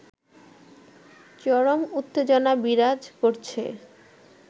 চরম উত্তেজনা বিরাজ করছে